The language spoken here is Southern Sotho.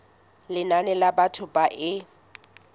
lenane la batho ba e